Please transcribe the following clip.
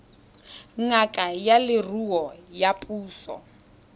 ngaka ya leruo ya puso